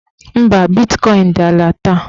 Mba, bitkọin dị ala taa